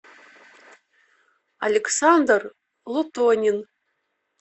александр лутонин